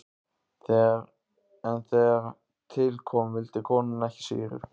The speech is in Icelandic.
En þegar til kom vildi konan ekki sýru.